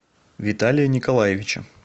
виталия николаевича